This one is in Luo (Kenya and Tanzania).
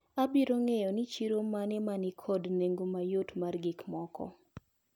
Abiro ng`eyo ni chiro mane manikod nengo mayot mar gikmoko.